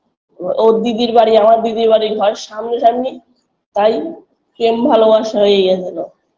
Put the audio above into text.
ও ওর দিদির বাড়ি আমার দিদির বাড়ির ঘর সামনাসামনি তাই পেম ভালোবাসা এই হয়েছিল